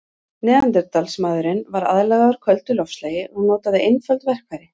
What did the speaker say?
Neanderdalsmaðurinn var aðlagaður köldu loftslagi og notaði einföld verkfæri.